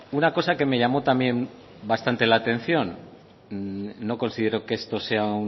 una cosa que me llamó también bastante la atención no considero que esto sea